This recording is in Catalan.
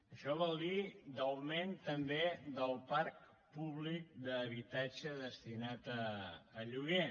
això vol dir d’augment també del parc públic d’habitatge destinat a lloguer